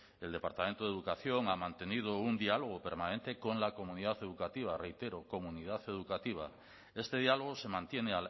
el departamento de educación ha mantenido un diálogo permanente con la comunidad educativa reitero comunidad educativa este diálogo se mantiene